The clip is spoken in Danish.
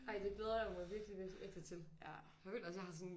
Ej det glæder jeg mig virkelig virkelig virkelig til jeg føler også jeg har sådan